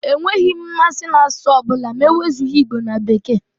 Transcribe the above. Enweghị m mmasị n'asụsụ ọ bụla ma e wezụga Igbo na Bekee.